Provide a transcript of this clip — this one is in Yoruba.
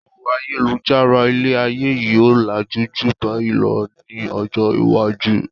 Pẹlu ayélujára ilé ayé yìí ó làjú ju báyìí lọ ní ọjọ́ iwájú.